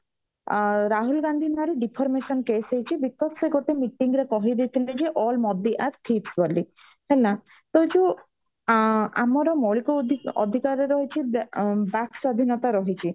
ଅ ରାହୁଲ ଗାନ୍ଧୀ ଭାରି deformation case ହେଇଛି because ସେ ଗୋଟେ meeting ରେ କହିଦେଇଥିଲେ ଯେ all ମୋଦୀ acts ବୋଲି ହେଲା ତ ଯୋଉ ଆ ଆମର ମୌଳିକ ଅଧି ଅଧିକାର ରହିଛି ବାକ୍ ବାକ୍ ସ୍ଵାଧୀନତା ରହିଛି